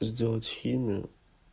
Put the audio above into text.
сделать химию